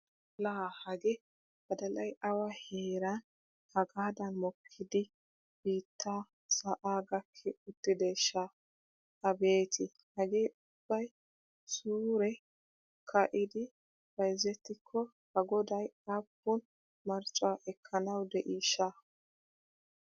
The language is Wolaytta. Laa hagee badalay awa heeran hagaadan mokkidi biittaa sa'aa gakki uttideeshsha! Abeeti hagee ubbay suure ka'idi bayzettikko A goday aappun marccuwa ekkanawu de'iishsha!